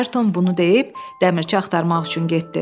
Ayrton bunu deyib dəmirçi axtarmaq üçün getdi.